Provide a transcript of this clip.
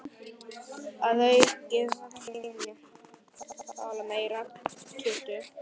Að auki hafði hún fitnað.